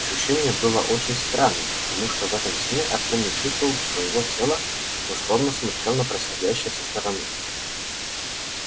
ощущение было очень странным потому что в этом сне артём не чувствовал своего тела но словно смотрел на происходящее со стороны